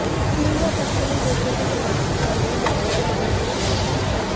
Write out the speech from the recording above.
चीन व पश्िचमी देशों के प्रवासी पहले ही यमन से निकल चुके हैं